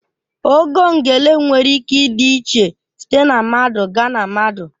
Ogo ngele nwere ike ịdị iche site na mmadụ gaa na mmadụ.